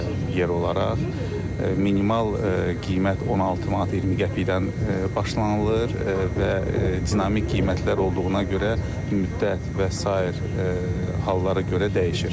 Yer olaraq minimal qiymət 16 manat 20 qəpikdən başlanılır və dinamik qiymətlər olduğuna görə müddət və sair hallara görə dəyişir.